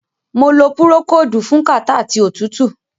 Mo lo Púrókódùù fún kàtá àti òtútù.